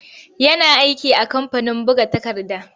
Yana aiki a kamfanin buga takarda.